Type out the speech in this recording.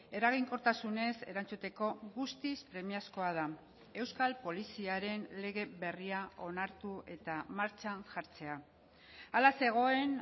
eraginkortasunez erantzuteko guztiz premiazkoa da euskal poliziaren lege berria onartu eta martxan jartzea hala zegoen